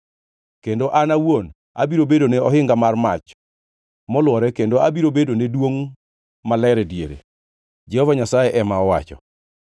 Kendo an awuon abiro bedone ohinga mar mach molwore kendo abiro bedone duongʼ maler e diere,’ ” Jehova Nyasaye ema owacho.